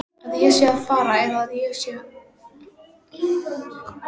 Að ég sé að fara eða að ég verði áfram?